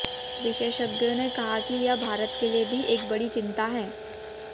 विशेषज्ञों ने कहा कि यह भारत के लिए भी एक बड़ी चिंता है